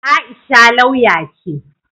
Aisha lauya ce.